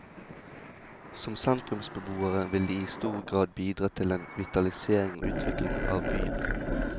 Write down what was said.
Som sentrumsbeboere vil de i stor grad bidra til en vitalisering og utvikling av byen.